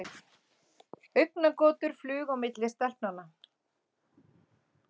Augnagotur flugu á milli stelpnanna.